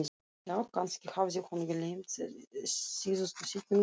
Já, kannski hafði hún gleymt síðustu setningunni núna.